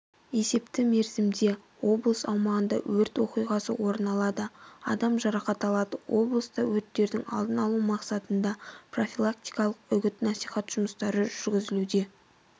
есепті мерзімде облыс аумағында өрт оқиғасы орын алды адам жарақат алды облыста өрттердің алдын алу мақсатында профилактикалық үгіт-насихат жұмыстары жүргізілуде